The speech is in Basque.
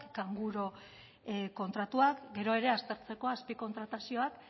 kanguru kontratuak gero ere aztertzeko azpi kontratazioa